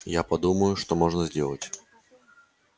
я подумаю что можно сделать